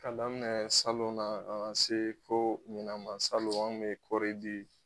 K'a daminɛ salon na kana se fo ɲinan ma salon an ŋun be kɔri di